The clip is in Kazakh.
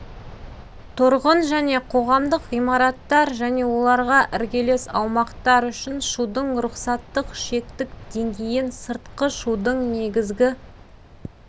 тұрғын және қоғамдық ғимараттар және оларға іргелес аумақтар үшін шудың рұқсаттық шектік деңгейін сыртқы шудың негізгі